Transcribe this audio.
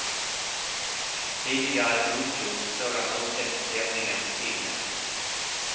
Tidigare godtogs sådana ursäkter tämligen rutinmässigt.